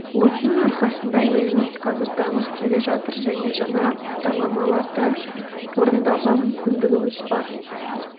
осының арқасында еліміз қазір дамып келе жатыр және жаңа бағдарламаларды орындауға мүмкіндігіміз бар